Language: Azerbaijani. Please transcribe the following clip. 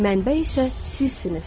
Mənbə isə sizsiniz.